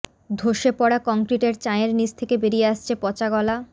ধসে পড়া কংক্রিটের চাঁইয়ের নীচ থেকে বেরিয়ে আসছে পচাগলা